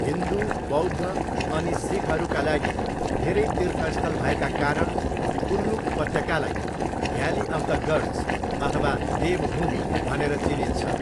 हिन्दू, बौद्ध अनि सिखहरूका लागि धेरै तीर्थस्थल भएका कारण कुल्लु उपत्यकालाई 'भ्याली अफ द गड्स' अथवा 'देवभूमि' भनेर चिनिन्छ।